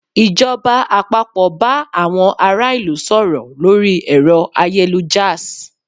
Ìjọba àpapọ̀ bá àwọn ará ìlú sọ̀rọ̀ lórí ẹ̀rọ ayélujárs